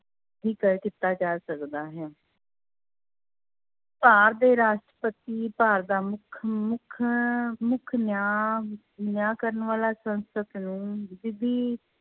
ਵੀ ਕਰ ਕੀਤਾ ਜਾ ਸਕਦਾ ਹੈ ਭਾਰ ਦੇ ਰਾਸ਼ਟਰਪਤੀ ਭਾਰ ਦਾ ਮੁੱਖ ਮੁੱਖ ਮੁੱਖ ਨਿਆਂ, ਨਿਆਂ ਕਰਨ ਵਾਲਾ ਸੰਸਦ ਨੂੰ